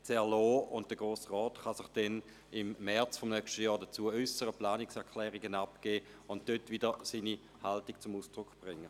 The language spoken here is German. Der Grosse Rat kann sich im März des nächsten Jahres dazu äussern, Planungserklärungen abgeben und damit seine Haltung zum Ausdruck bringen.